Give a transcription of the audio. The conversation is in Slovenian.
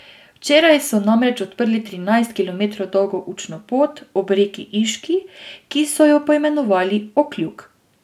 Včeraj so namreč odprli trinajst kilometrov dolgo učno pot ob reki Iški, ki so jo poimenovali Okljuk.